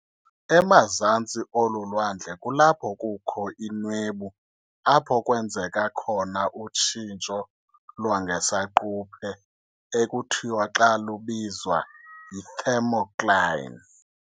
emazantsi olu lwandle kulapho kukho inwebu apho kwenzeka khona utshintsho lwangesaquphe ekuthiwa xa lubizwa yi- "thermocline".